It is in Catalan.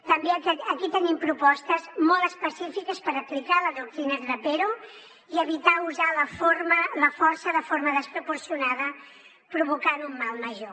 també aquí tenim propostes molt específiques per aplicar la doctrina trapero i evitar usar la força de forma desproporcionada provocant un mal major